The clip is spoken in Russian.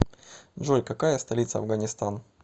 джой какая столица афганистан